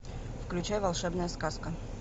включай волшебная сказка